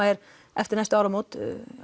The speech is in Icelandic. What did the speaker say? er eftir næstu áramót